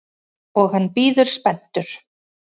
Og hann bíður spenntur.